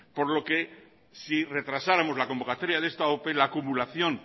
por lo que si retrasáramos la convocatoria de esta ope la acumulación